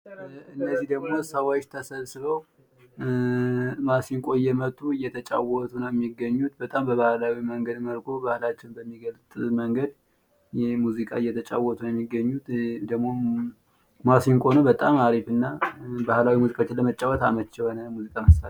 እነዚህ ደግሞ ሰዎች ተሰብስበው ማሲንቆ እየመቱ እየተጫወቱ ነው የሚገኙት በጣም በባህላዊ መንገድ መልኩ ባህላችን በሚገልጽ መንገድ ሙዚቃ እየተጫወቱ ነው የሚገኙት። ማሲንቆ በጣም አሪፍ እና ባህላዊ ሙዚቃዎችን ለመጫወት የሚጠቅም ነው።